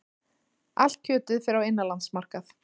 Allt kjötið fer á innanlandsmarkað